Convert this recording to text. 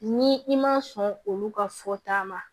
Ni i ma sɔn olu ka fɔta ma